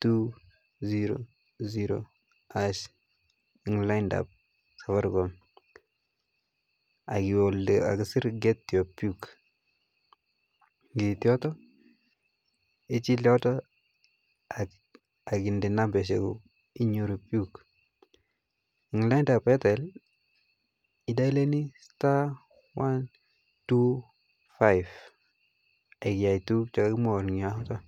two zero zero harsh eng laindab Safaricom ak iwe elekakisir get your puk ng'iit yotok ichil yotok AK inde nambarishekuk inyoru puk, en laindab Airtel idayoleni star one two five ak iyai tukuk chekokimwoun en yotok.